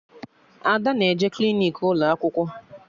Ada na-eje klinik ụlọ akwụkwọ